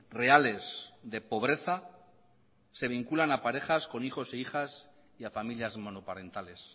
reales de pobreza se vinculan a parejas con hijos e hijas y a familias monoparentales